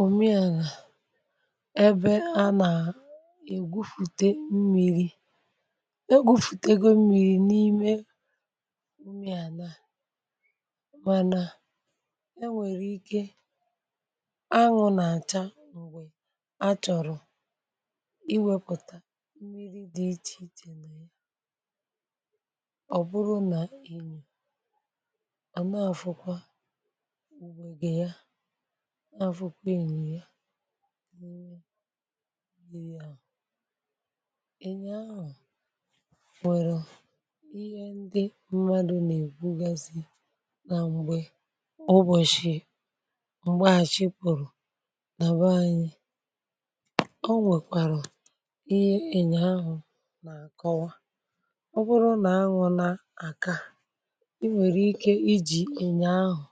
òmi àlà, ebe a nà-ègwupùte mmiri̇. egwupùtego mmiri̇ n’ime mmiri àlà, mànà e nwèrè ike anwụ̇ na-acha, m̀gbè achọ̀rọ̀ iwėpụ̀ta mmiri dị iche iche. um mmiri̇ ọ̀ bụrụ nà inyì àmaụ̀fụkwa, na fukwa ènyì ya, nwere ya, ị̀nyè ahù, wèrè ihe ndị mmadụ̀ nà-ègbugazì, nà m̀gbè ụbọ̀shị̀ m̀gbè àchịpụ̀rụ̀, nà bụ̀ ànyị. o nwèkwàrụ̀ ihe ị̀nyè ahù nà-àkọwa, ọbụrụ nà anwụ̇ na-àka, i nwèrè ike ijì ị̀nyè ahù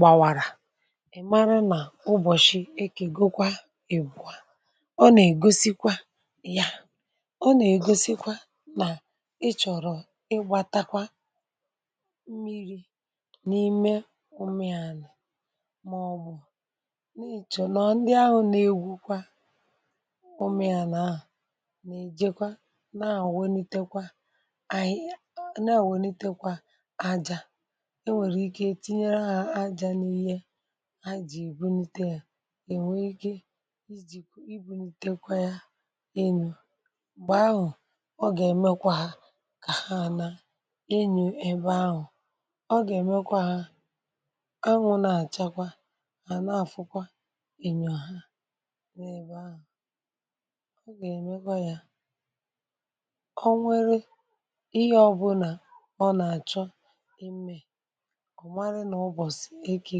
gbawàrà, mara nà ubọ̀shị̀, ekègokwa ègwùa. ọ nà-ègosikwa ya, ọ nà-ègosikwa nà ị chọ̀rọ̀ ịgbȧtakwa mmiri̇ n’ime umèa, nà ọ̀ bụ̀ nà ị chọ̀rọ̀ ndị ahụ̇ nà egwùkwa umèa nà ahụ̀, nà èjekwa na àòwenitekwa àhị. e nwèrè ike tinyere hȧ aja, n’ihe ha jì bunute yȧ, è nwee ike i ji̇ i bunute kwa yȧ, enyò m̀gbè ahụ̀. ọ gà-èmekwa kà ha àna enyò ebe ahụ̀, ọ gà-èmekwa ha, anwụ̇ nà-àchakwa, mà nà-afụkwa ènyò ha nà ebe ahụ̀. ọ gà-èmekwa yȧ, o nwere ihe ọbụ̇nà ọ nà-àchọ, ọ̀ marị nà ụbọ̀sị̀ ekė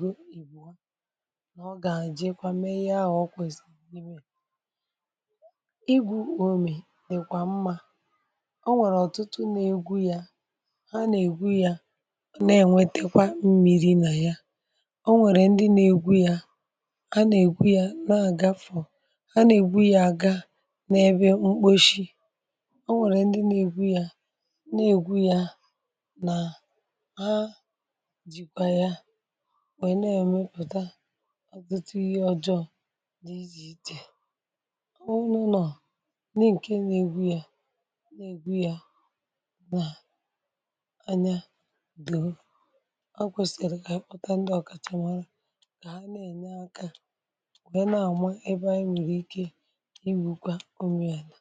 gọ ìgbò, nà ọ gà-àjị ikwa mee yaa. ọ̀ kwèsì n’imė igwu̇ òmè nà èkwà mmȧ. ọ nwèrè ọ̀tụtụ nà-egwu ya, ha nà-ègwu ya, na-ènwetekwa mmiri̇ nà ya. ọ nwèrè ndị nà-egwu ya, ha nà-ègwu ya, nà àgafọ, ha nà-ègwu ya, àga n’ebe mkposhi. ọ nwèrè ndị nà-egwu ya, na-ègwu ya, nà nwèe na-èmepụ̀ta ọ̀zọtụ ihe ọjọ̇ n’ịjị̇ ichè. ọ̀ nụnụ̀ nọ̀ di ǹke na-egwu ya, na-egwu ya, ọ nà anya dị̀. o kwèsìrì kà ànyị kpọta ndị ọ̀kàchà màọrȧ, kà ha na-ène aka, nwèe na-àma ebe anyị mìrì ike, iwùkwa umu yȧ nà.